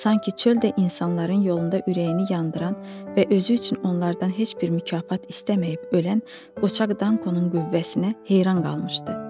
Sanki çöl də insanların yolunda ürəyini yandıran və özü üçün onlardan heç bir mükafat istəməyib ölən qoçaq Dankonun qüvvəsinə heyran qalmışdı.